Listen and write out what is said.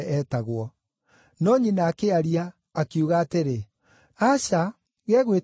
no nyina akĩaria, akiuga atĩrĩ, “Aca! Gegwĩtwo Johana.”